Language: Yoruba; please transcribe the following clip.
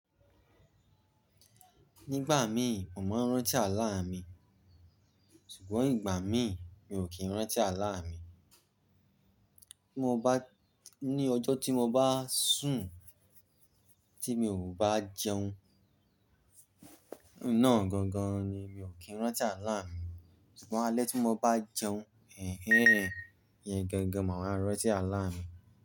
Nígbà mí, mo màá n rántí àlá mi, ṣùgbọ́n ìgbà mí, mi ò kí n rántí àlá mi. Ní ọjọ́ tí mo bá sùn tí mi ò bá jẹun, ná gangan ni mi ò kí n rántí àlá mi. Ṣùgbọ́n alẹ́ tí mo bá jẹun, ẹẹ́, iyẹn gangan màá wa rántí àlá mi.